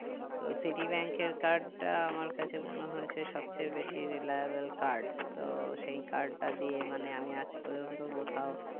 তো citi bank এর card টা আমার কাছে মনে হয়েছে সব চেয়ে বেশি reliable card তো সেই card টা দিয়ে মানে আমি আজ পর্যন্ত কোথাও